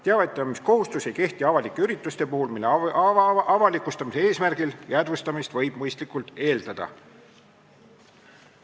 Teavitamiskohustus ei kehti avalike ürituste puhul, mille avalikustamise eesmärgil jäädvustamist võib mõistlikult eeldada.